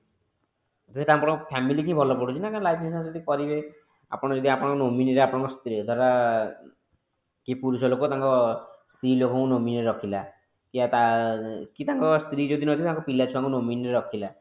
ସେଟା ତାଙ୍କର family କି ଭଲ ପଡୁଛି ନା କାରଣ ଆପଣ ଯଦି life insurance କରିବେ ଆପଣ ଯଦି ଆପଣ ଙ୍କ nominee ରେ ଆପଣଙ୍କ ଧର କି ପୁରୁଷ ଲୋକ ତାଙ୍କ ସ୍ତ୍ରୀ ଲୋକଙ୍କୁ nominee ରେ ରଖିଲା କି ତାଙ୍କ ସ୍ତ୍ରୀ ଯଦି ନଥିବେ ତାଙ୍କ ପିଲା ଛୁଆଙ୍କୁ nominee ରେ ରଖିଲା